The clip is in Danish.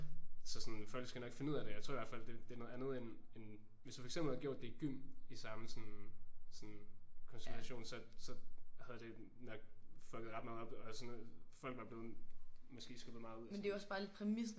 Så sådan folk skal nok finde ud af det. Jeg tror i hvert fald det er noget andet end end hvis du for eksempel havde gjort det i gym i samme sådan sådan konstellation så så så havde det nok fucked ret meget op og sådan noget og folk var blevet sådan skubbet rimelig meget ud og sådan